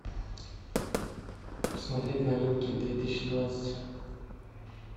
смотреть новинки две тысячи двадцать